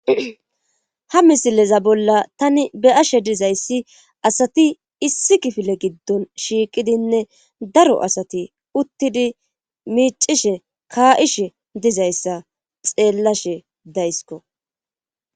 Ha misileza bolla tani be'ashe dizayssi asati issi kifile giddon shiiqidinne daro asati uttidi miicishe ka'ishe dizayssa xeellashe daysko